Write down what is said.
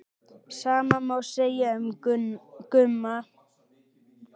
Sama má segja um Gumma.